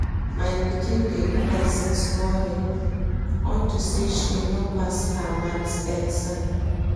My pikin dey cry since morning unto say she no pass her math exam